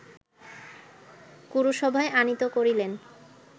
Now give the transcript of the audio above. কুরুসভায় আনীত করিলেন